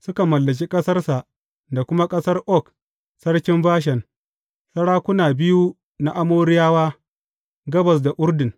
Suka mallaki ƙasarsa da kuma ƙasar Og sarkin Bashan, sarakuna biyu na Amoriyawa, gabas da Urdun.